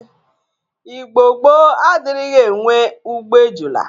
Igbo gboo adrighi enwe ugbo ejụla.